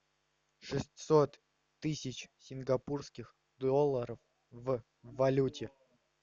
шестьсот тысяч сингапурских долларов в валюте